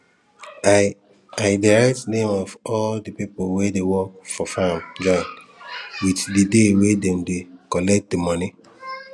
i i dey write name of all di people wey dey work for farm join with di day wey dem dey collect di moni